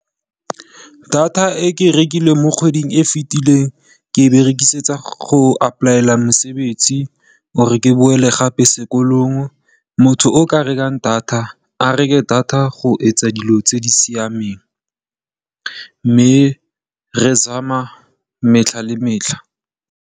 Data e ke e rekile mo kgweding e fitileng ke e berekisetsa go apply-ela mosebetsi or ke boele gape sekolong. Motho o ka rekang data a reke data go etsa dilo tse di siameng mme re zama metlha le metlha.